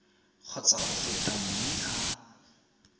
kgotsa go feta mme a